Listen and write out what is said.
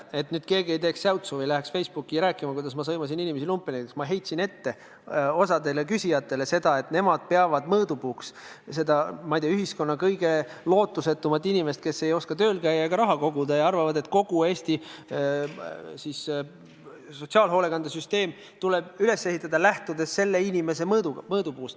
Et nüüd keegi ei teeks säutsu või ei läheks Facebooki rääkima, kuidas ma sõimasin inimesi lumpeniks: ma heitsin osale küsijatele ette, et nemad peavad mõõdupuuks seda, ma ei tea, ühiskonna kõige lootusetumat inimest, kes ei oska tööl käia ega raha koguda, ja arvavad, et kogu Eesti sotsiaalhoolekande süsteem tuleb üles ehitada, lähtudes sellise inimese mõõdupuust.